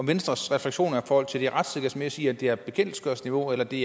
venstres refleksioner forhold til det retssikkerhedsmæssige i at det er bekendtgørelsesniveau eller det